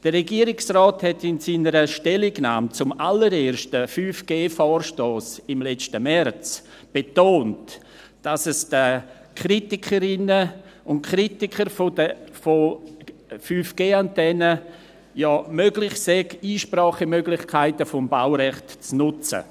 Der Regierungsrat betonte in seiner Stellungnahme zum allerersten 5G-Vorstoss im letzten März, dass es den Kritikerinnen und Kritikern ja möglich sei, die Einsprachemöglichkeiten des Baurechts zu nutzen.